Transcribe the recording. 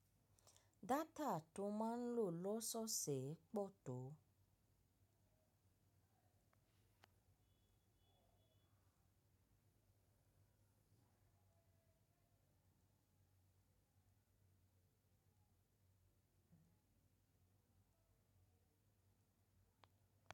Data tó máa ń lò lọ́sọ̀ọ̀ ṣe pọ̀ tó.